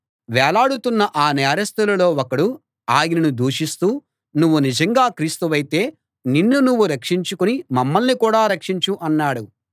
వేలాడుతున్న ఆ నేరస్థుల్లో ఒకడు ఆయనను దూషిస్తూ నువ్వు నిజంగా క్రీస్తువైతే నిన్ను నువ్వు రక్షించుకుని మమ్మల్ని కూడా రక్షించు అన్నాడు